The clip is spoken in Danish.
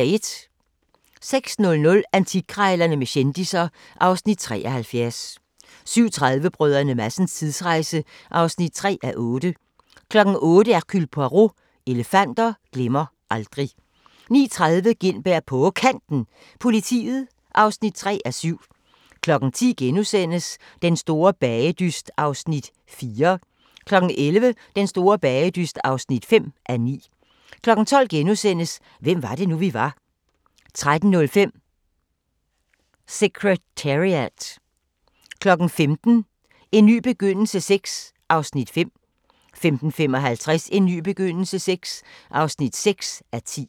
06:00: Antikkrejlerne med kendisser (Afs. 73) 07:30: Brdr. Madsens tidsrejse (3:8) 08:00: Hercule Poirot: Elefanter glemmer aldrig 09:30: Gintberg på Kanten – Politiet (3:7) 10:00: Den store bagedyst (4:9)* 11:00: Den store bagedyst (5:9) 12:00: Hvem var det nu, vi var? * 13:05: Secretariat 15:00: En ny begyndelse VI (5:10) 15:55: En ny begyndelse VI (6:10)